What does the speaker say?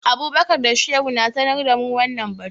Abubakar da Shehu sha sanar da mu wannan batu.